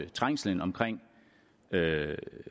trængslen omkring